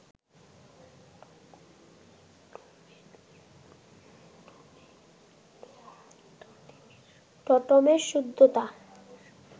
টোটেমের সভ্যতা